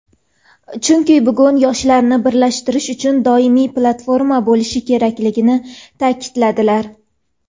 Chunki bugun yoshlarni birlashtirish uchun doimiy platforma bo‘lishi kerakligini ta’kidladilar.